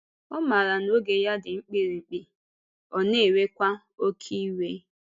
Ọ maara na oge ya dị mkpirikpi, ọ na-ewekwa oké iwe.